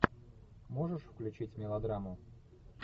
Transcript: можешь включить мелодраму